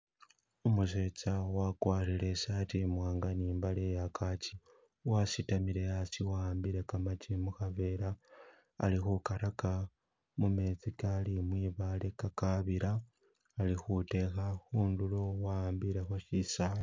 Umusetsa wagwarile isaati imwanga ni mbale ya kachi wasitamile hasi wahambile gamagi mukhabela ali kugaraga mumeezi gali mwibaale gagabila alikhudekha khundulo wakhambilekho shisaala.